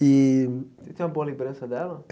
E Você tem uma boa lembrança dela?